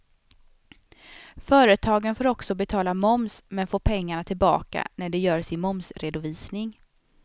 Företagen får också betala moms men får pengarna tillbaka när de gör sin momsredovisning.